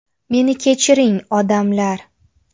Meni kechiring, odamlar.